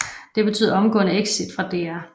Det betød omgående exit fra DR